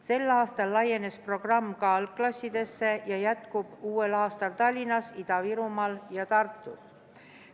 Sel aastal laienes programm ka algklassidesse ja jätkub uuel aastal Tallinnas, Ida-Virumaal ja Tartus.